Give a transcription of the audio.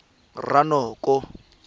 ranoko